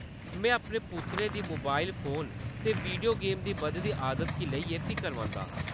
में अपने पुत्तरै दी मोबाइल फोन ते वीडियो गेम्स दी बधदी आदत गी लेइयै फिकरमंद आं।